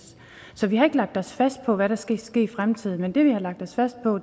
så vi har ikke lagt os fast på hvad der skal ske i fremtiden men det vi har lagt os fast på